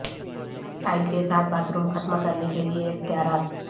tile کے ساتھ bathroom ختم کرنے کے لئے اختیارات